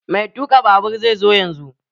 Mai tuka babur zai zo yanzun.